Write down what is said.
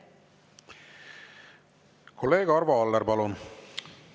Kolleeg Arvo Aller, palun!